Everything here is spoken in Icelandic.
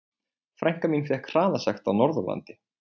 Frænka mín fékk hraðasekt á Norðurlandi.